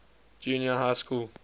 junior high school